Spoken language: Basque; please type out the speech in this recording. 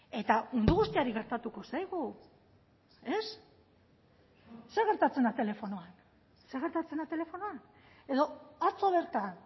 eta mundu guztiari gertatuko zaigu ez zer gertatzen da telefonoan zer gertatzen da telefonoan edo atzo bertan